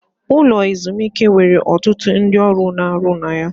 Ụlọ ezumike nwere ọtụtụ ndị ọrụ na-arụ ọrụ na ya.